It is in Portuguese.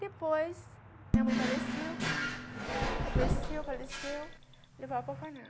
Depois, minha mãe faleceu, adoeceu, faleceu, levou eu para o orfanato.